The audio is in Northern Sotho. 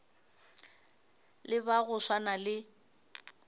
le ba go swana le